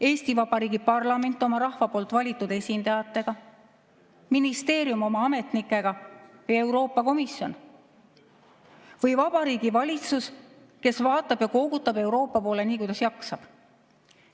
Eesti Vabariigi parlament oma rahva poolt valitud esindajatega, ministeerium oma ametnikega, Euroopa Komisjon või Vabariigi Valitsus, kes vaatab ja koogutab Euroopa poole, nii kuidas jaksab?